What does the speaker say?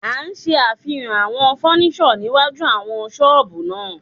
A ṣe àfihàn àwọn fọ́níṣọ̀ síwájú àwọn ṣọ́ọ̀bù náà.